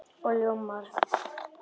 Og ljómar.